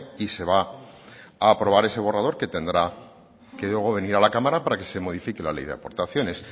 y se va a aprobar ese borrador que tendrá que luego venir a la cámara para que se modifique la ley de aportaciones